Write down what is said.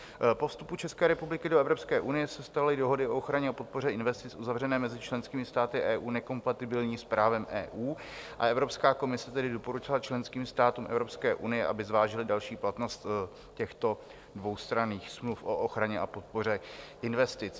Po vstupu České republiky do Evropské unie se staly dohody o ochraně a podpoře investic uzavřené mezi členskými státy EU nekompatibilní s právem EU, a Evropská komise tedy doporučila členským státům Evropské unie, aby zvážily další platnost těchto dvoustranných smluv o ochraně a podpoře investic.